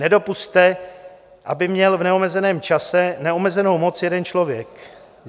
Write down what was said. Nedopusťte, aby měl v neomezeném čase neomezenou moc jeden člověk.